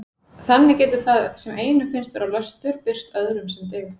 Þannig getur það sem einum finnst vera löstur birst öðrum sem dyggð.